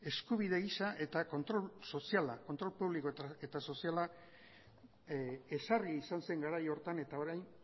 eskubide gisa eta kontrol soziala kontrol publiko eta soziala ezarri izan zen garai horretan eta orain